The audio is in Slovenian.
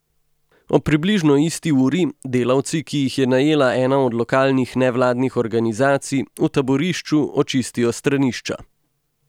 Ob približno isti uri delavci, ki jih je najela ena od lokalnih nevladnih organizacij, v taborišču očistijo stranišča.